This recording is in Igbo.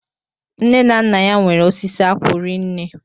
Nne na Nna ya nwere osisi akwụ rinne